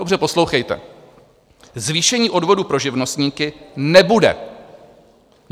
Dobře poslouchejte: Zvýšení odvodů pro živnostníky nebude.